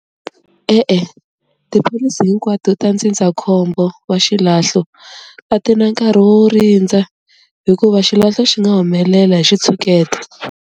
E-e tipholisi hinkwato ta ndzindzakhombo wa xilahlo a ti na nkarhi wo rindza hikuva xilahlo xi nga humelela hi xitshuketa.